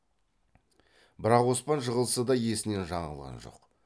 бірақ оспан жығылса да есінен жаңылған жоқ